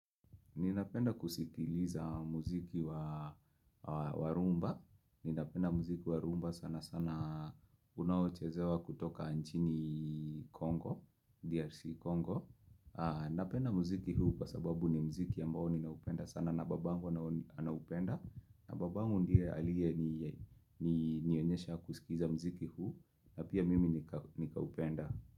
Ninapenda kusikiliza muziki wa rumba. Ninapenda muziki wa rumba sana sana. Unaochezewa kutoka nchini Congo, DRC Congo. Napenda muziki huu kwa sababu ni muziki ambao ninaupenda sana. Nababangu anaupenda. Nababangu ndiye alienionyesha kusikiza muziki huu. Napia mimi nikaupenda.